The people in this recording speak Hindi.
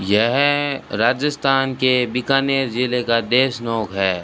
यह राजस्थान के बीकानेर जिले का देशनोक हैं।